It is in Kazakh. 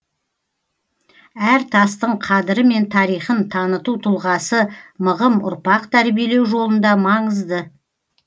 әр тастың қадірі мен тарихын таныту тұлғасы мығым ұрпақ тәрбиелеу жолында маңызды